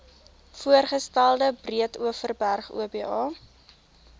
voorgestelde breedeoverberg oba